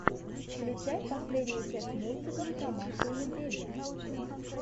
включай последнюю часть мультика про машу и медведя